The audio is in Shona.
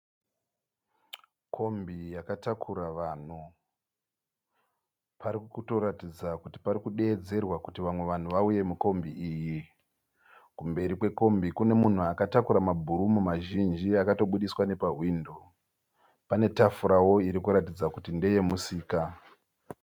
Kombi yakatakura vanhu. Pari kutoratidza kuti pari kudeedzerwa kuti vamwe vanhu vauye mukombi iyi. Kumberi kwekombi kune munhu akatakura mabhurumu mazhinji akatobudiswa nepawindo. Pane tafurawo iri kuratidza kuti ndeye musika.